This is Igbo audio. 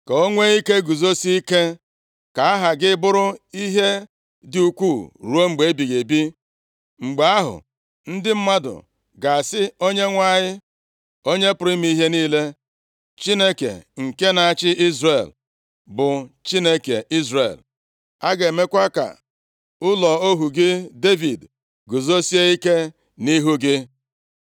ka o nwee ike guzosie ike. Ka aha gị bụrụ ihe dị ukwuu ruo mgbe ebighị ebi. Mgbe ahụ ndị mmadụ ga-asị, ‘Onyenwe anyị, Onye pụrụ ime ihe niile, Chineke nke na-achị Izrel, bụ Chineke Izrel.’ A ga-emekwa ka ụlọ ohu gị Devid guzosie ike nʼihu gị.